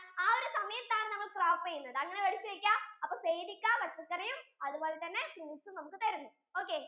ആ ഒരു സമയത്തു ആണ് നമ്മൾ crop ചെയ്യുന്നത് അങ്ങനെ മനസിൽ വെക്ക അപ്പൊ sayd ഇക്ക പച്ചക്കറിയും അതുപോലെ തന്നെ fruits ഉം നമുക്കു തരുന്നു okay